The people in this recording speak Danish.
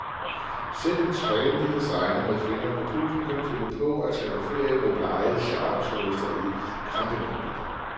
Selv en trendy designer med fingeren på pulsen kan finde på at tage på ferie med blege charterturister i campinghabitter.